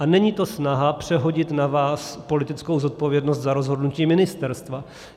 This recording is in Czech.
A není to snaha přehodit na vás politickou zodpovědnost za rozhodnutí ministerstva.